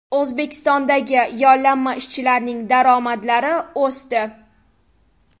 O‘zbekistondagi yollanma ishchilarning daromadlari o‘sdi.